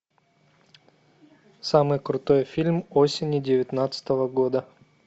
самый крутой фильм осени девятнадцатого года